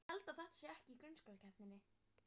Ákveðinn greinir í fleirtölu.